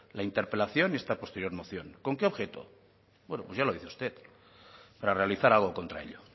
la interpelación y esta posterior moción con qué objeto bueno pues ya lo dice usted la de realizar algo contra ello